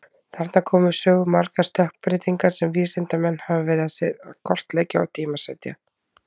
Þarna koma við sögu margar stökkbreytingar sem vísindamenn hafa verið að kortleggja og tímasetja.